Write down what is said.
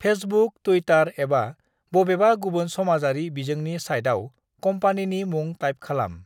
"Facebook, Twitter एबा बबेबा गुबुन समाजारि बिजोंनि साइटआव कम्पानिनि मुं टाइप खालाम।"